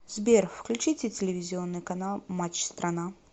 сбер включите телевизионный канал матч страна